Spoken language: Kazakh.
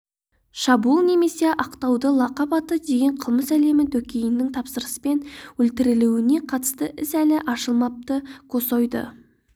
шабуыл немесе ақтауда лақап аты деген қылмыс әлемі дөкейінің тапсырыспен өлтірілуіне қатысты іс әлі ашылмапты косойды